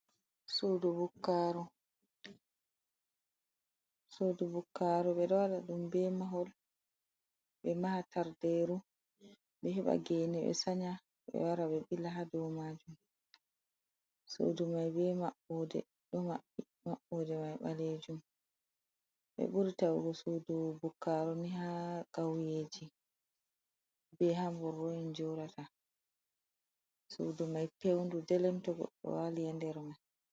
Suudu bukkaru ɓe ɗo wala ɗum ɓe mahol ɓe maha tarderu ɓe heɓa gene ɓe sanya ɓe wara ɓe ɓila ha do majum sudu ɓeɗo maɓɓoɗe mai balejum ɓe ɓuri tago sudu bukaru ni ha gauyeji be hambor ron jurata sudu mai pewndu delemtogo o walia nder mai.